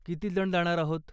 किती जण जाणार आहोत?